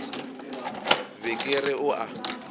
be ke re o a